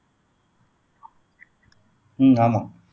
உம் ஆமா